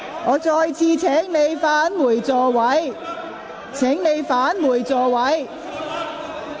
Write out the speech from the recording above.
我再次請議員返回座位。